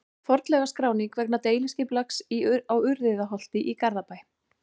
Fornleifaskráning vegna deiliskipulags á Urriðaholti í Garðabæ.